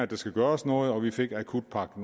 der skulle gøres noget og vi fik akutpakke